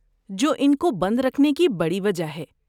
جو ان کو بند رکھنے کی بڑی وجہ ہے!